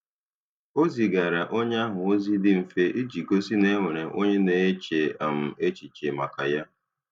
Ọ zigara onye ahụ ozi dị mfe iji gosi na e nwere onye na-eche um echiche maka ya